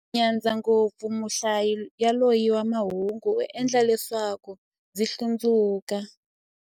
Ndzi nyadza ngopfu muhlayi yaloye wa mahungu, u endla leswaku ndzi hlundzuka.